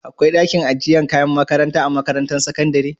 akwai dakin ajiyar kayan makarantar a makarantar sakandari?